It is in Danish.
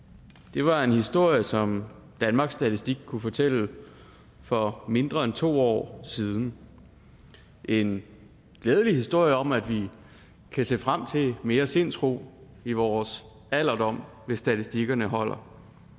det var en historie som danmarks statistik kunne fortælle for mindre end to år siden en glædelig historie om at vi kan se frem til mere sindsro i vores alderdom hvis statistikerne holder